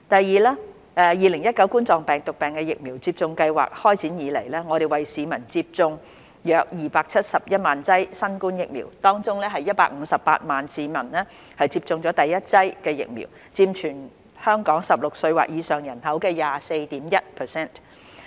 二及三2019冠狀病毒病疫苗接種計劃開展以來，我們為市民接種約271萬劑新冠疫苗，當中約158萬名市民接種了第一劑疫苗，佔全港16歲或以上人口的 24.1%。